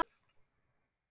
Hún elskaði blóm og dýr.